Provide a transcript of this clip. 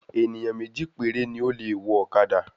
Ènìyàn méjì péré ni o le wọ ọ̀kadà